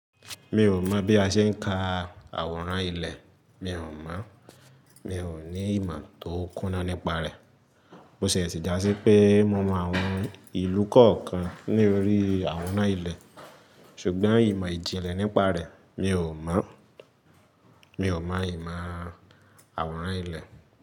Mi ò mọ̀ bí a ṣe ń ka àwòrán ilẹ̀, mi ò mọ̀. Mi ò ní ìmọ̀ tó kúnná nípa rẹ̀. Mo ṣẹ̀ṣẹ̀ dà sí pé mo mọ àwọn ìlú kọ̀ọ̀kan ní orí àwòrán ilẹ̀ ṣùgbọ́n ìmọ̀ ìjìnlẹ̀ nípa rẹ̀ mi ò mọ̀. Mi ò mọ ìmọ̀ àwòrán ilẹ̀.